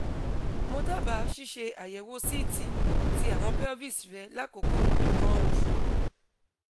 mo daba ṣiṣe ayewo ct ti awọn pelvis re lakoko ikan oṣu